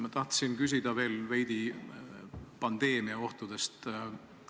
Ma tahan küsida veel veidi pandeemia ohtude kohta.